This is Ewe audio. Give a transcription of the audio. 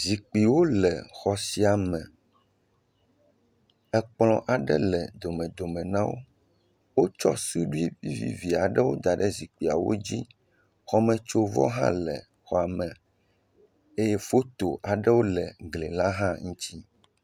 Zikpuiwo le exɔ sia me, ekplɔ aɖe le domedome na wo, wotsɔ suɖui vivivi aɖewo da ɖe zikpuiwo dzi, xɔmetsovɔ aɖe le xɔa me eye foto aɖewo le gli la hã ŋuti